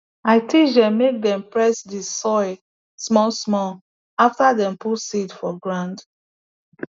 i teach dem make dem press the soil smallsmall after dem put seed for ground